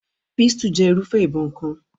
Pistol jẹ́ irúfẹ́ ìbọn kan.